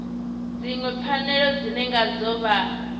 dziṅwe pfanelo dzine ngadzo vha